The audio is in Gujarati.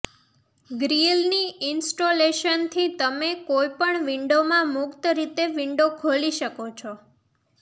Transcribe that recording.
ગ્રીલની ઇન્સ્ટોલેશનથી તમે કોઈ પણ વિંડોમાં મુક્ત રીતે વિન્ડો ખોલી શકો છો